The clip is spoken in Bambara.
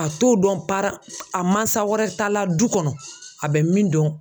A t'o dɔn para a mansa wɛrɛ ta la du kɔnɔ a bɛ min dɔn.